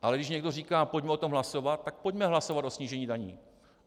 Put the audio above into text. Ale když někdo říká pojďme o tom hlasovat, tak pojďme hlasovat o snížení daní.